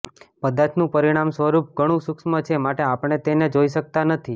પદાર્થનું પરિમાણ સ્વરૂપ ઘણું સૂક્ષ્મ છે માટે આપણે તેને જોઇ શકતા નથી